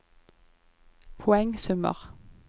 poengsummer